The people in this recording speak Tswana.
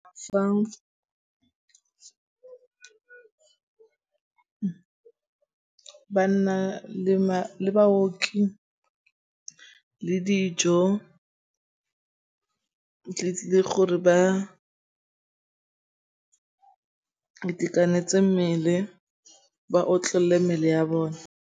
Fa ba nna le baoki le dijo o tlile gore ba itekanetse mmele ba otlolle mmele ya bone.